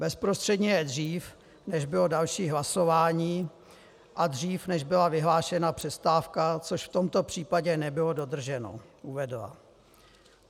"Bezprostředně je dřív, než bylo další hlasování, a dřív, než byla vyhlášena přestávka, což v tomto případě nebylo dodrženo," uvedla.